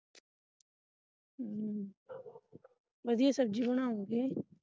ਵਧੀਆ ਸ਼ਬਜੀ ਬਣਾਉਗੀ।